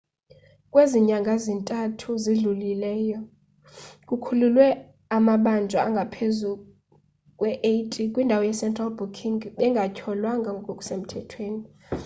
kwezi nyanga ziyi-3 zidlulileyo kukhululwe amabanjwa angaphezu kwe-80 kwindawo ye-central booking bengatyholwanga ngokusemthethweni